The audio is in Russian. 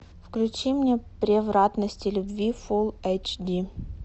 включи мне превратности любви фул эйч ди